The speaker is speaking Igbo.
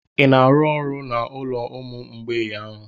Ị na-arụ ọrụ n'olo ụmụ mgbei ahụ?